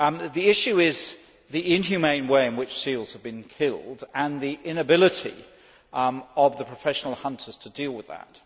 The issue is the inhumane way in which seals are being killed and the inability of professional hunters to deal with that.